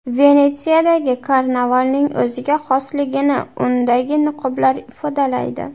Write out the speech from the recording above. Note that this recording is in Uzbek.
Venetsiyadagi karnavalning o‘ziga xosligini undagi niqoblar ifodalaydi.